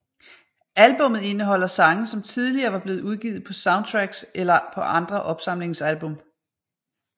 Albummet indeholder sange som tidligere var blevet udgivet på soundtracks eller på andre opsamlingsalbum